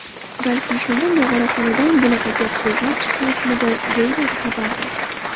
Balki shunda Nog‘oraxonadan bunaqa gap-so‘zlar chiqmasmidi”, deyiladi xabarda.